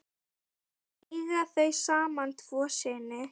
Eiga þau saman tvo syni.